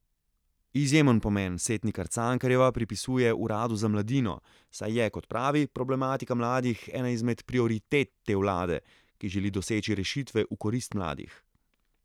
Izjemen pomen Setnikar Cankarjeva pripisuje uradu za mladino, saj je, kot pravi, problematika mladih ena izmed prioritet te vlade, ki želi doseči rešitve v korist mladih.